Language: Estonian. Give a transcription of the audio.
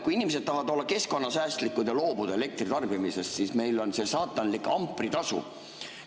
Kui inimesed tahavad olla keskkonnasäästlikud ja loobuda elektri tarbimisest, siis meil on see saatanlik ampritasu.